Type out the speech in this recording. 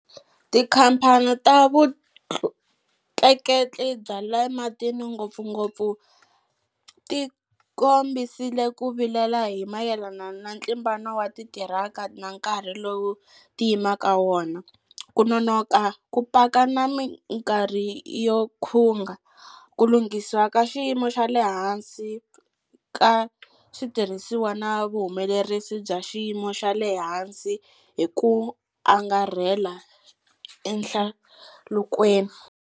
Tikhamphani ta vutleketli bya le matini, ngopfungopfu, ti kombisile ku vilela hi mayelana na ntlimbano wa titiraka na nkarhi lowu ti yimaka wona, ku nonoka ku paka na mikarhi yo khunga, ku lunghisiwa ka xiyimo xa le hansi ka switirhisiwa na vuhumelerisi bya xiyimo xa le hansi hi ku angarhela ehlalukweni.